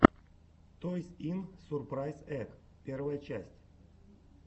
тойс ин сурпрайз эгг первая часть